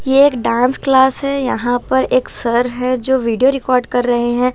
ये एक dance class है यहाँ पर एक सर है जो वीडियो रिकॉर्ड कर रहे हैं ।